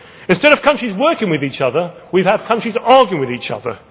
Instead of countries working with each other, we have countries arguing with each